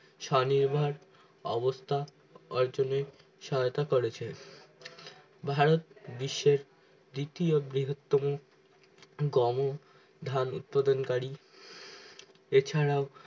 স্বনির্ভর অবস্থা অর্জনে সহায়তা করেছে ভারত বিশ্বের দ্বিতীয় বৃহৎ তমো গম ধান উৎপাদন করি এছাড়াও